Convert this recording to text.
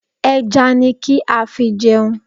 Ẹja ni kí á fi jẹun.